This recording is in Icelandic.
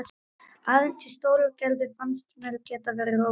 Aðeins í Stóragerði fannst mér ég geta verið róleg.